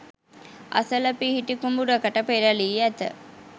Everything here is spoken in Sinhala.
අසල පිහිටි කුඹුරකට පෙරළී ඇත.